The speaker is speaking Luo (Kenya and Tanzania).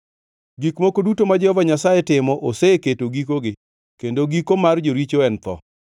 Gik moko duto ma Jehova Nyasaye timo oseketo gikogi, kendo giko mar joricho en tho.